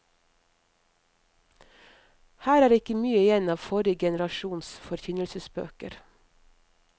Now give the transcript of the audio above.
Her er ikke mye igjen av forrige generasjons forkynnelsesbøker.